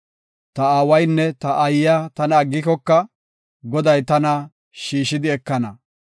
Ta aawaynne ta aayiya tana aggikoka Goday tana shiishidi ekana.